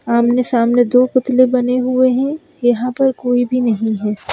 आमने-सामने दो पुतले बने हुए हैं यहां पर कोई भी नहीं है।